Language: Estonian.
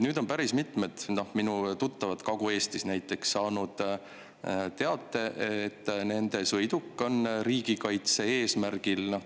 Nüüd on päris mitmed minu tuttavad Kagu-Eestis saanud teate, et nende sõiduk on riigikaitse eesmärgil.